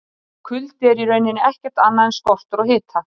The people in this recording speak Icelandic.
Kuldi er í rauninni ekkert annað en skortur á hita!